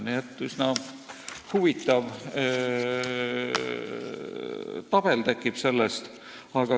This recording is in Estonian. Nii et sellest tekib üsna huvitav tabel.